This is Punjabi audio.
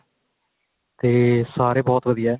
ਤੇ ਸਾਰੇ ਬਹੁਤ ਵਧੀਆ